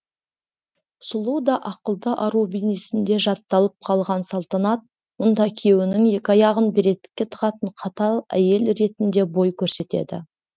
сұлу да ақылды ару бейнесінде жатталып қалған салтанат мұнда күйеуінің екі аяғын бір етікке тығатын қатал әйел ретінде бой көрсетеді